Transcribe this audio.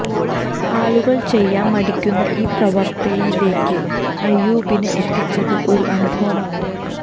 ആളുകള് ചെയ്യാന് മടിക്കുന്ന ഈ പ്രവര്ത്തിയിലേക്ക് അയ്യൂബിനെ എത്തിച്ചത് ഒരു അനുഭവമാണ്